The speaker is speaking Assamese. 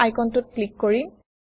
এই আইকনটোত ক্লিক কৰিম